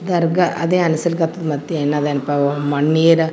ದರ್ಗಾ ಅದೆ ಅನ್ನಸ್ಲಕತ್ತದ್ ಮತ್ತೆ ಏನ್ ಅದೆನ್ಪಾ ಮಣ್ಣಿ .